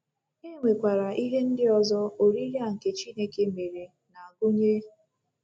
E nwekwara ihe ndị ọzọ oriri a nke Chineke mere na-agụnye.